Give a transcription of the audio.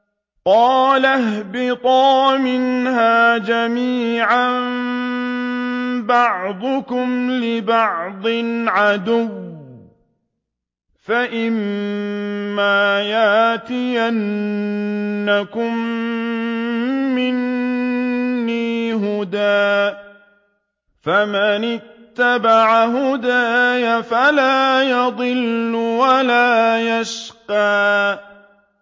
قَالَ اهْبِطَا مِنْهَا جَمِيعًا ۖ بَعْضُكُمْ لِبَعْضٍ عَدُوٌّ ۖ فَإِمَّا يَأْتِيَنَّكُم مِّنِّي هُدًى فَمَنِ اتَّبَعَ هُدَايَ فَلَا يَضِلُّ وَلَا يَشْقَىٰ